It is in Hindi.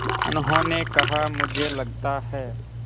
उन्होंने कहा मुझे लगता है